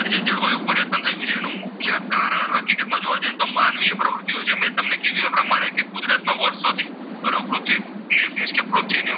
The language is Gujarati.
તો કે માનવીય પ્રવૃત્તિઓ છે મેં તમને કીધુ એ પ્રમાણે કે કુદરતનું વર્ષોથી બરોબર પૃથ્વી એટલે કે પૃથ્વીનું.